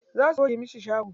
Za su goge masa shago.